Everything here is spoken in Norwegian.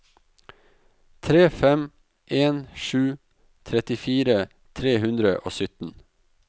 tre fem en sju trettifire tre hundre og sytten